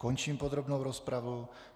Končím podrobnou rozpravu.